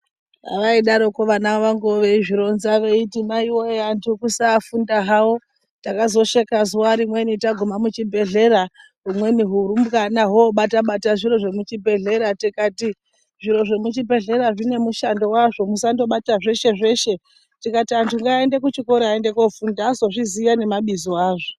Vaidaroko vana vangu veizvironza veiti, "Maiwe antu kusaafunda hawo, takazosheka zuwa rimweni taguma muchibhedhlera, humweni hurumbwana hwobata-bata zviro zvemuchibhedhlera, tikati zviro zvemuchibhedhlera zvine mushando wazvo, musandobata zveshe-zveshe." "Tikati antu ngaaende kuchikora aende kofunda azozviziya nemabizo azvo."